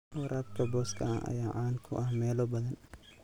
Waraabka booska ah ayaa caan ku ah meelo badan.